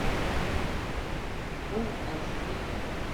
фулл аш ди